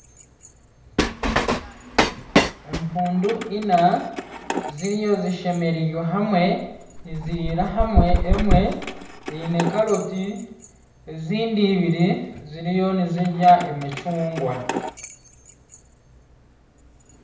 Empuundu ina ziriyo zishemererirwe hamwe niziriira hamwe. Emwe eine caroti ezindi ibiri ziriyo nizirya emicungwa.